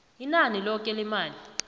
inani loke lemali